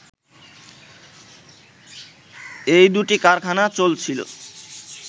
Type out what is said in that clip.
এই দুটি কারখানা চলছিল